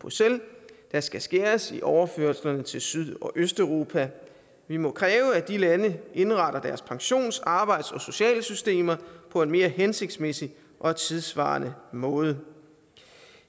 bruxelles der skal skæres i overførslerne til syd og østeuropa vi må kræve at de lande indretter deres pensionssystemer og sociale systemer på en mere hensigtsmæssig og tidssvarende måde